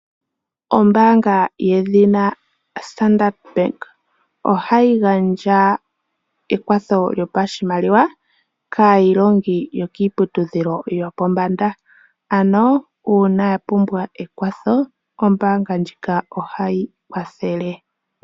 Ombaanga yedhina Standard bank ohayi gandja ekwatho lyopa shimaliwa kaayilongi yokiiputu dhilo yo pombanda . Ano uuna yapumbwa ekwatho ombaanga ndjika ohai kwathele.